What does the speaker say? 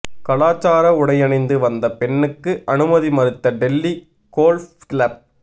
கலாசார உடையணிந்து வந்த பெண்ணுக்கு அனுமதி மறுத்த டெல்லி கோல்ஃப் கிளப்